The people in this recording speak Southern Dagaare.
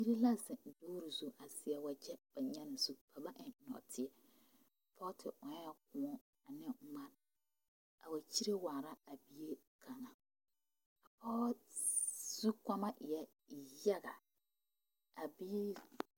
Biiri la zeŋ guuri zu a seɛ wagye ba nyaani zu ba ba eŋ nɔɔteɛ pɔge te ɔŋɛɛ kõɔ ne ŋmani a wa kyere waara a bie kaŋa a pɔge zu kɔɔma e la yaga a biiri